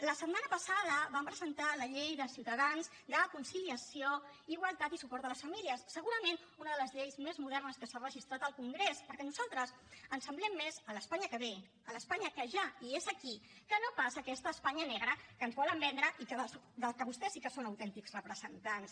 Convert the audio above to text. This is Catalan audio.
la setmana passada vam presentar la llei de ciutadans de conciliació igualtat i suport a les famílies segurament una de les lleis més modernes que s’ha registrat al congrés perquè nosaltres ens semblem més a l’espanya que ve a l’espanya que ja és aquí que no pas a aquesta espanya negra que ens volen vendre i de la que vostès sí que són autèntics representants